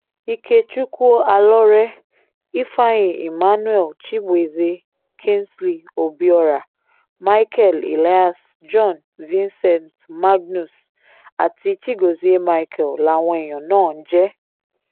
ikechukwu alọ́rẹ́ ifeanyi emmanuel chibueze kingsley obiora micheal elias john vincent magnus àti chigozie micheal làwọn èèyàn náà ń jẹ